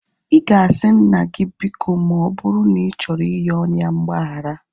Ị ga-asị nna gị biko ma ọ bụrụ na ị chọrọ iyoo ya mgbagharaịga